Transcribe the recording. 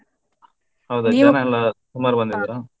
ಹೌದಾ ಜನ ಎಲ್ಲ ಸುಮಾರ್ ಬಂದಿದ್ರ.